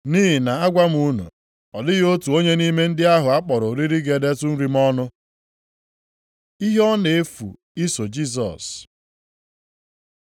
Nʼihi na agwa m unu, ọ dịghị otu onye nʼime ndị ahụ a kpọrọ oriri ga-edetụ nri m ọnụ.’ ” Ihe ọ na-efu iso Jisọs